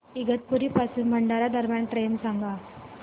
इगतपुरी पासून भंडारा दरम्यान ट्रेन सांगा